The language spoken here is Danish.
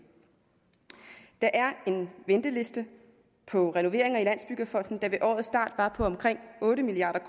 der er en venteliste på renoveringer i landsbyggefonden der ved årets start var på omkring otte milliard